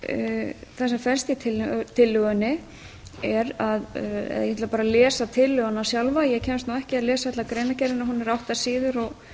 það sem felst í tillögunni er að ég ætla bara að lesa tillöguna sjálfa ég kemst nú ekki að lesa alla greinargerðina hún er átta síður og